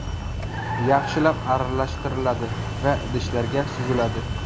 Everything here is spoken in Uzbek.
Yaxshilab aralashtiriladi va idishlarga suziladi.